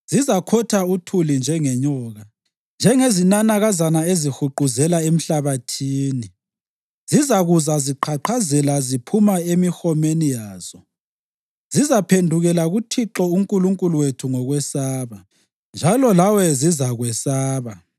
Zizakhotha uthuli njengenyoka, njengezinanakazana ezihuquzela emhlabathini. Zizakuza ziqhaqhazela ziphuma emihomeni yazo; zizaphendukela kuThixo uNkulunkulu wethu ngokwesaba, njalo lawe zizakwesaba.